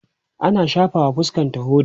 tana shafawa fuskanta hoda